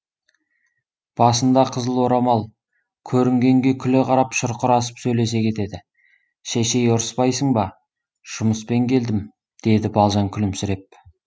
басында қызыл орамал көрінгенге күле қарап шұрқырасып сөйлесе кетеді шешей ұрыспайсың ба жұмыспен келдім деді балжан күлімсіреп